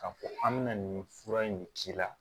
K'a fɔ an bɛna nin fura in de k'i la